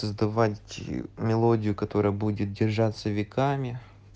сдавать мелодию которая будет держаться веками